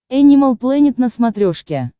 энимал плэнет на смотрешке